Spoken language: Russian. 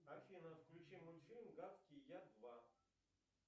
афина включи мультфильм гадкий я два